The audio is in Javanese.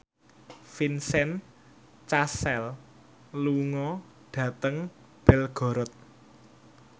Vincent Cassel lunga dhateng Belgorod